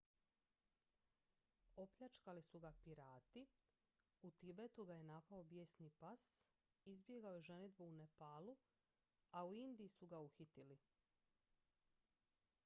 opljačkali su ga pirati u tibetu ga je napao bijesni pas izbjegao je ženidbu u nepalu a u indiji su ga uhitili